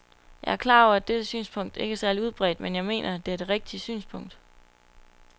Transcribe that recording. Jeg er klar over, at dette synspunkt ikke er særlig udbredt, men jeg mener, at det er det rigtige synspunkt.